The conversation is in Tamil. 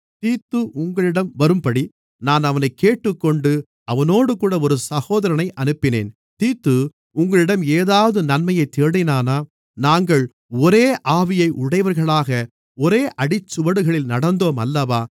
தீத்து உங்களிடம் வரும்படி நான் அவனைக் கேட்டுக்கொண்டு அவனோடுகூட ஒரு சகோதரனை அனுப்பினேன் தீத்து உங்களிடம் ஏதாவது நன்மையைத் தேடினானா நாங்கள் ஒரே ஆவியை உடையவர்களாக ஒரே அடிச்சுவடுகளில் நடந்தோம் அல்லவா